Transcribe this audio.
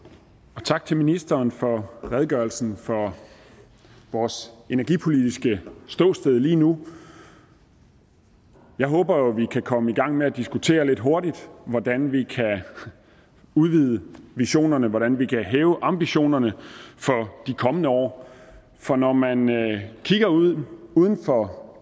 og tak til ministeren for redegørelsen for vores energipolitiske ståsted lige nu jeg håber jo at vi kan komme i gang med at diskutere lidt hurtigt hvordan vi kan udvide visionerne hvordan vi kan hæve ambitionerne for de kommende år for når man kigger ud uden for